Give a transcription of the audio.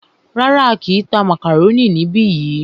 Rárá,á kìí tá màkàrónì níbi yìí.